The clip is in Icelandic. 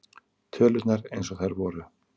Tölurnar eins og þær voru.